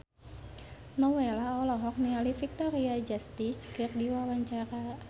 Nowela olohok ningali Victoria Justice keur diwawancara